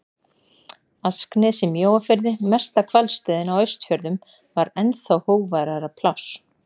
Asknes í Mjóafirði, mesta hvalstöðin á Austfjörðum, var ennþá hógværara pláss.